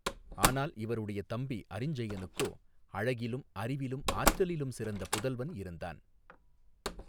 ஆனால் இவருடைய தம்பி அரிஞ்சயனுக்கோ அழகிலும் அறிவிலும் ஆற்றலிலும் சிறந்த புதல்வன் இருந்தான்.